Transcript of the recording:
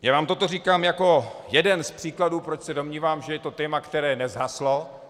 Já vám toto říkám jako jeden z příkladů, proč se domnívám, že je to téma, které nezhaslo.